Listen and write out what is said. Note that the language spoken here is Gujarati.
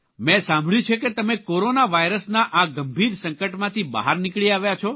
મેં સાંભળ્યું છે કે તમે કોરોના વાયરસના આ ગંભીર સંકટમાંથી બહાર નીકળી આવ્યા છો